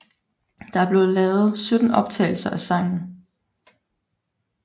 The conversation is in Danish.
Der blev lavet 17 optagelser af sangen